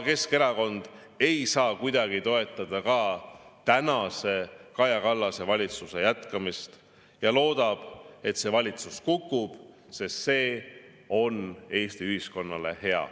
Keskerakond ei saa kuidagi toetada Kaja Kallase valitsuse jätkamist ja loodab, et see valitsus kukub, sest see on Eesti ühiskonnale hea.